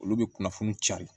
Olu bɛ kunnafoni cari